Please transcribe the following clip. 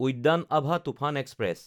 উদ্যান আভা তুফান এক্সপ্ৰেছ